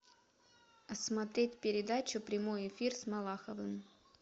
смотреть передачу прямой эфир с малаховым